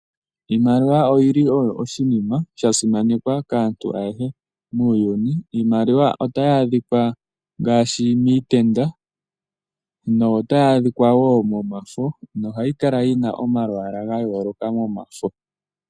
Iimaliwa oyili oshinima sha simanekwa kaantu ayehe muuyuni. Iimaliwa otayi adhikwa ngaashi miitenda notayi adhikwa wo momafo, nohayi kala yina omalwaala ga yooloka momafo.